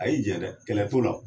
A y'i jɛ dɛ kɛlɛ t'o la .